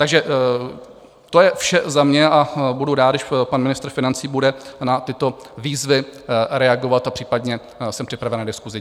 Takže to je vše za mě a budu rád, když pan ministr financí bude na tyto výzvy reagovat, a případně jsem připraven na diskusi.